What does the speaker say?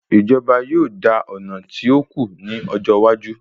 Ìjọba yóò dà ọ̀nà tí òkú ní ọjọ́ iwájú